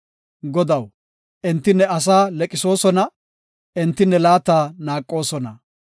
Godaw, enti ne asaa liiqisoosona; enti ne laata naaqoosona.